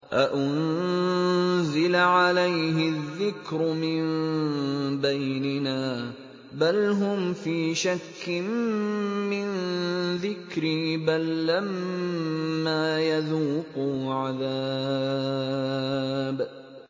أَأُنزِلَ عَلَيْهِ الذِّكْرُ مِن بَيْنِنَا ۚ بَلْ هُمْ فِي شَكٍّ مِّن ذِكْرِي ۖ بَل لَّمَّا يَذُوقُوا عَذَابِ